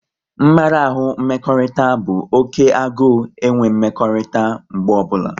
Mmarahu mmekọrịta bụ oké agụ enwe mmekọrịta mgbe ọbụla